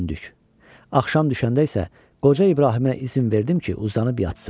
Axşam düşəndə isə qoca İbrahimə izin verdim ki, uzanıb yatsın.